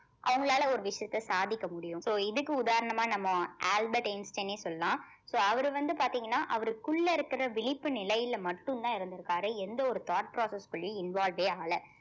அவங்களால ஒரு விஷயத்த சாதிக்க முடியும் so இதுக்கு உதாரணமா நம்ம ஆல்பர்ட் ஐயன்ஸ்ட்டின் சொல்லலாம் so அவரு வந்து பாத்தீங்கன்னா அவருக்குள்ள இருக்கிற விழிப்பு நிலையில மட்டும்தான் இருந்திருக்காரு எந்த ஒரு thought process க்குள்ளயும் involved ஏ ஆகல